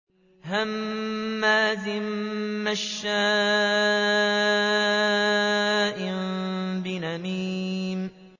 هَمَّازٍ مَّشَّاءٍ بِنَمِيمٍ